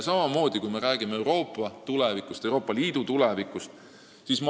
Räägime ka Euroopa ja Euroopa Liidu tulevikust.